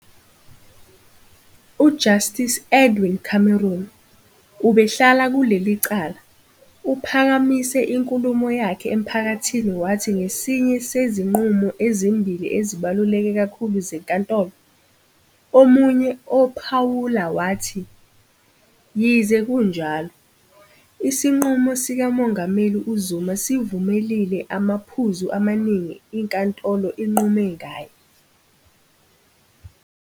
UJustice Edwin Cameron, obehlala kuleli cala, uphakamise inkulumo yakhe emphakathini wathi ngesinye sezinqumo ezimbili ezibaluleke kakhulu zeNkantolo. Omunye ophawula wathi, yize kunjalo, isinqumo sikaMongameli uZuma sivumelile amaphuzu amaningi iNkantolo inqume ngaye.